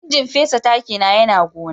injin fesa taki na Yana gona.